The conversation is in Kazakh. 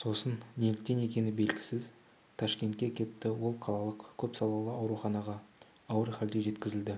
сосын неліктен екені белгісіз ташкентке кетті ол қалалық көпсалалы ауруханаға ауыр халде жеткізілді